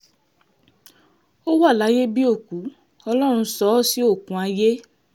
ó wà láyé bíi òkú ọlọ́run sọ ọ́ sí oókùn ayé